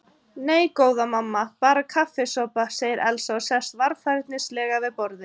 Nei, góða mamma, bara kaffisopa, segir Elsa og sest varfærnislega við borðið.